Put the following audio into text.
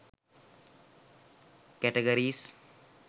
categories